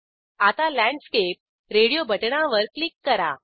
आता landscape radio बटणावर click करा